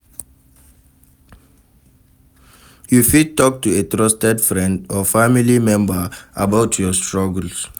You fit talk to a trusted friend or family member about your struggles.